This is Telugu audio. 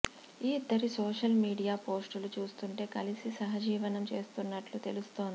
ఈ ఇద్దరి సోషల్ మీడియా పోస్టులు చూస్తుంటే కలిసి సహజీవనం చేస్తున్నట్లు తెలుస్తోంది